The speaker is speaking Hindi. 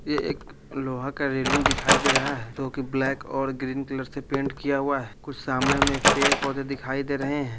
ये एक लोहा का रेलिंग दिखाई दे रहा है जो कि ब्लैक और ग्रीन कलर से पेंट किया हुआ है कुछ सामने में पेड़-पौधे दिखाई दे रहे है।